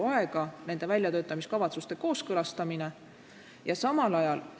Ka nende väljatöötamiskavatsuste kooskõlastamine raiskab väga palju aega.